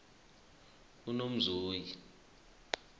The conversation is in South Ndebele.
unomzoyi